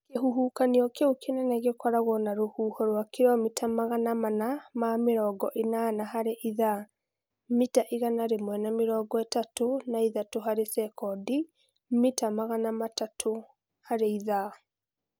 kihuhũkanio kiu kinene gikoragwo na rũhuho rwa kiromita magana mana ma mĩrongo ĩnana harĩ ithaa (mita igana rĩmwe na mĩrongo ĩtatũ na ithatũ harĩ sekondi; mita magana matatũ harĩ ithaa ).